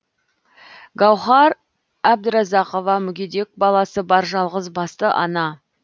гауһар әбдіразақова мүгедек баласы бар жалғызбасты ана